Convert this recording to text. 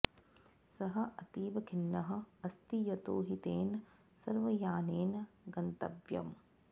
सः अतीव खिन्नः अस्ति यतो हि तेन सर्वयानेन गन्तव्यम्